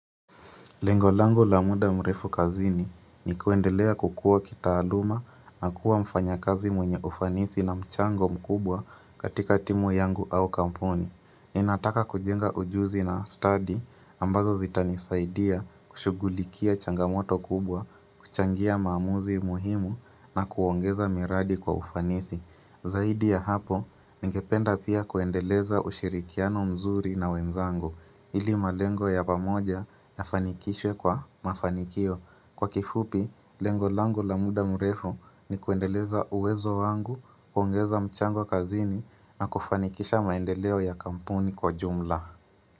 Lengolangu la muda mrefu kazini ni kuendelea kukua kitaaluma na kuwa mfanya kazi mwenye ufanisi na mchango mkubwa katika timu yangu au kampuni. Ni nataka kujenga ujuzi na study ambazo zitanisaidia kushugulikia changamoto kubwa, kuchangia maamuzi muhimu na kuongeza miradi kwa ufanisi. Zaidi ya hapo, ningependa pia kuendeleza ushirikiano mzuri na wenzango, ili malengo ya pamoja ya fanikishwe kwa mafanikio. Kwa kifupi, lengo langu la muda mrefu ni kuendeleza uwezo wangu, kuongeza mchango kazini na kufanikisha maendeleo ya kampuni kwa jumla.